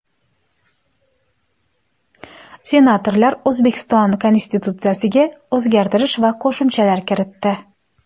Senatorlar O‘zbekiston Konstitutsiyasiga o‘zgartish va qo‘shimchalar kiritdi.